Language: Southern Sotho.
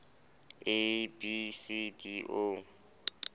a b c d o